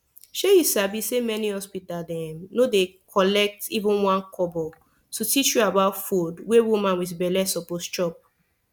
shey u sabi say many hospital dem no dey collect even 1kobo to teach u about food wey woman wit belle suppose chop